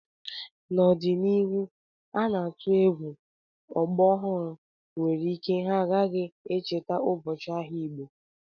N'ọdịnihu ana m atụ egwu ọgbọ ọhụrụ nwere ike ha agaghị echeta ụbọchị ahịa Igbo